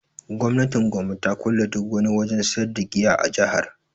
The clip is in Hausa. Gwamnatin Gombe ta kulle duk wani wajen sayar da giya a jihar